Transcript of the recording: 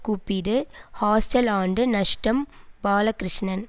கூப்பிடு ஹாஸ்டல் ஆண்டு நஷ்டம் பாலகிருஷ்ணன்